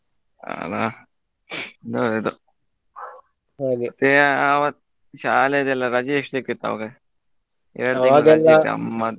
ಅಲ್ಲಾ ಹೌದು ಆವತ್ತು ಶಾಲೆಗೆಲ್ಲ ರಜೆ ಎಷ್ಟ ಸಿಕ್ಕಿತ್ ಅವಾಗ ಎರಡು .